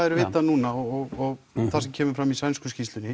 er vitað núna og það sem kemur fram í sænsku skýrslunni